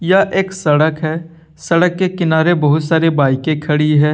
यह एक सड़क है सड़क के किनारे बहुत सारी बाईकें खड़ी है।